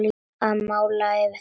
Að mála yfir þetta.